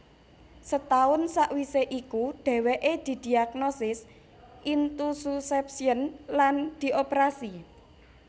Setaun sakwisé iku dhéwéké didiagnosis Intussusception lan dioperasi